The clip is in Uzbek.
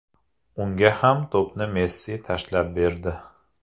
Unga ham to‘pni Messi tashlab berdi.